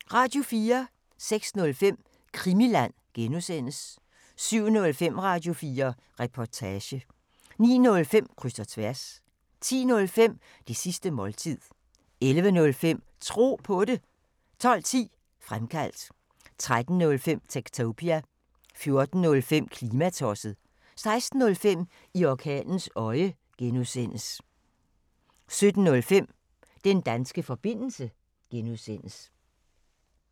06:05: Krimiland (G) 07:05: Radio4 Reportage 09:05: Kryds og tværs 10:05: Det sidste måltid 11:05: Tro på det 12:10: Fremkaldt 13:05: Techtopia 14:05: Klimatosset 16:05: I orkanens øje (G) 17:05: Den danske forbindelse (G)